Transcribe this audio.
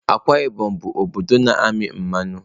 Akwa Ibom bụ obodo na-amị mmanụ.